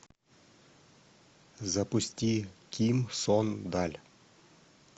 запусти ким сон даль